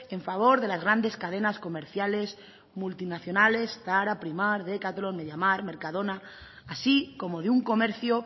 en favor de las grandes cadenas comerciales multinacionales zara primark decathlon media markt mercadona así como de un comercio